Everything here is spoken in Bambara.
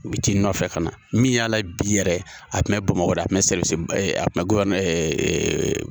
U bi t'i nɔfɛ ka na. Min y'a la bi yɛrɛ a Kun bɛ Bamakɔ a kun bɛ